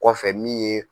Kɔfɛ min ye